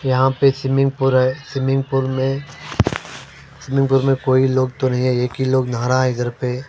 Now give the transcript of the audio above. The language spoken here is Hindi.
यहां पे स्विमिंग पूल है स्विमिंग पूल में स्विमिंग पूल में कोई लोग तो नहीं एक ही लोग नहा रहा है इधर पे--